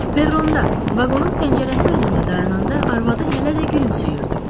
Perronda vaqonun pəncərəsi önündə dayananda arvadı hələ də gülümsüyürdü.